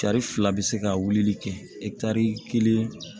Tari fila bɛ se ka wulili kɛ ɛkitari kelen